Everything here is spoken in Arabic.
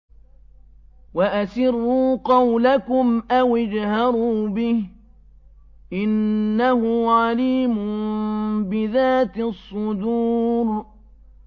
وَأَسِرُّوا قَوْلَكُمْ أَوِ اجْهَرُوا بِهِ ۖ إِنَّهُ عَلِيمٌ بِذَاتِ الصُّدُورِ